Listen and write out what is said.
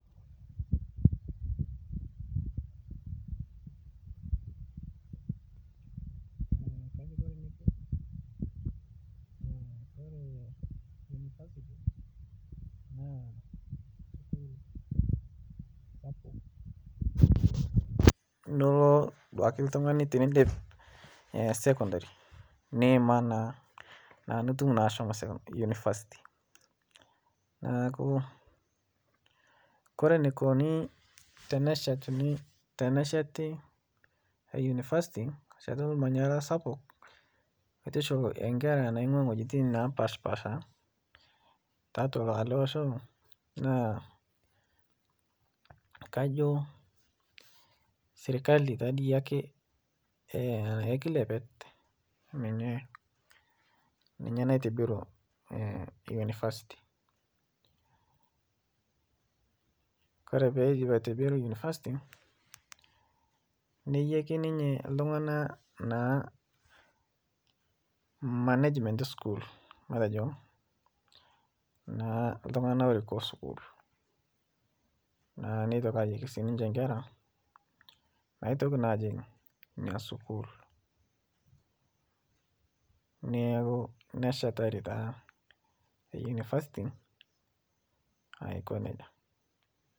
oree naa univasiti naa ewoji sapuk nilo oltungani teniindip sekondari niima naa netuum naa ashomo unifasiti neeku koree eneikuni tenesheti unifasiti ashet olmanyara sapuk aitushul inkera naingua iwojitun napaasha pasha tiatua ele osho naa kajoo sirkali taadiake ekilepet ninye naitobiru unifasiti koree peidip aitobiruu unifasiti nejeki ninye iltungana naa management school matejo naa iltungana oiko sukul naa neitoki sinje aliki inkera naitoki naa ajing ina sukuul neeku neshetarii taa te unifasiti aiko nejia